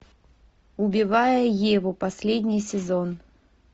убивая еву последний сезон